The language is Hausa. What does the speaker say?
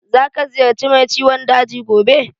Za ka ziyarci mai ciwon daji gobe?